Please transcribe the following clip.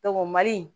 mali